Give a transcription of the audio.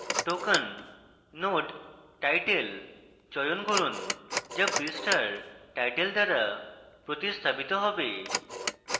token node: title চয়ন করুন যা পৃষ্ঠার title দ্বারা প্রতিস্থাপিত হবে